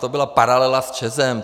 To byla paralela s ČEZ.